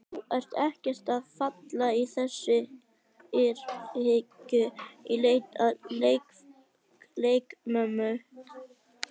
Þú ert ekkert að falla í þessa gryfju í leit að leikmönnum?